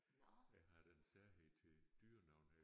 Jeg har den særhed til dyrenavne